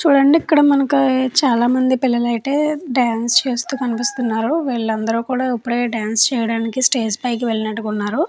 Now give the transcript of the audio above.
చూడండి ఇక్కడ మనకు చాలామంది పిల్లలు అయితే డాన్స్ చేస్తూ కనిపిస్తున్నారు వీళ్ళందరూ కూడా ఇప్పుడే డాన్స్ చేయడానికి స్టేజ్ పైకి వెళ్ళినట్టుకున్నారు.